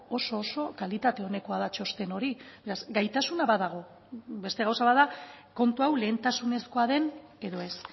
oso oso kalitate onekoa da txosten hori gaitasuna badago beste gauza bat da kontu hau lehentasunezkoa den edo ez